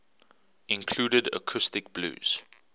included acoustic blues